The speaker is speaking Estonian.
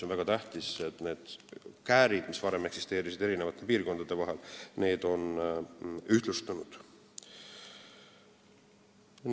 On väga tähtis, et kui varem eksisteerisid eri piirkondade vahel käärid, siis nüüd on menetlusajad ühtlustunud.